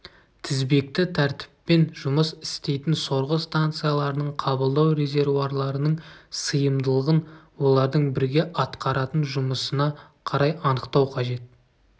тізбекті тәртіппен жұмыс істейтін сорғы станцияларының қабылдау резервуарларының сыйымдылығын олардың бірге атқаратын жұмысына қарай анықтау қажет